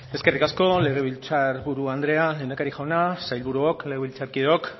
eskerrik asko legebiltzar buru andrea lehendakari jauna sailburuok legebiltzarkideok